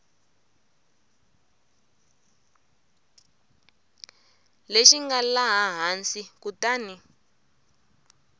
lexi nga laha hansi kutani